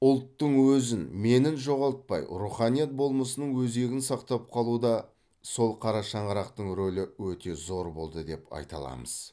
ұлттың өзін менін жоғалтпай руханият болмысының өзегін сақтап қалуда сол қара шаңырақтың рөлі өте зор болды деп айта аламыз